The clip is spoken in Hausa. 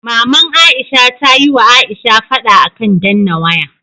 Maman aisha tayi wa aisha fada akan danna waya